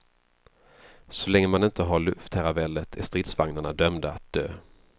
Så länge man inte har luftherravälde är stridsvagnarna dömda att dö.